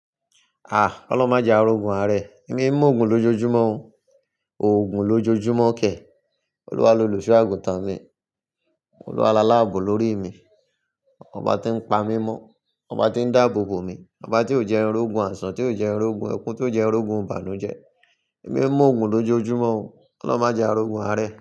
Ah! Ọlọ́un mọ jẹ a rogun ààrẹ. Emi ń mú òògùn lójoójúmọ́ o, òògùn lójoójúmọ́ kẹ̀. Ọluwa loluso àgùntàn mi, Ọluwa la láàbò lórí mi. Ọba tí ń pa mí mọ́, ọba tí ń dáàbòbò mi, ọba tí ò jẹ n rogun àisán, tí ò jẹ nrogun ekun, tí ò jẹ n rogun ìbànújẹ. Emi oń mú òògùn lójoójúmọ́ o. Koloun ma jẹ a rogun ààrẹ.